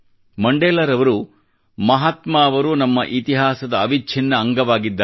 ಮಂಡೇಲರವರು ಮಹಾತ್ಮಾ ಅವರು ನಮ್ಮ ಇತಿಹಾಸದ ಅವಿಚ್ಚಿನ್ನ ಅಂಗವಾಗಿದ್ದಾರೆ